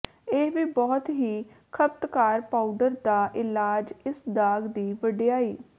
ਇਹ ਵੀ ਬਹੁਤ ਹੀ ਖਪਤਕਾਰ ਪਾਊਡਰ ਦਾ ਇਲਾਜ ਇਸ ਦਾਗ ਦੀ ਵਡਿਆਈ